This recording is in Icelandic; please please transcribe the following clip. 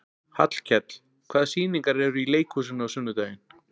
Hallkell, hvaða sýningar eru í leikhúsinu á sunnudaginn?